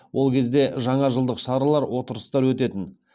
ол кезде жаңажылдық шаралар отырыстар өтетін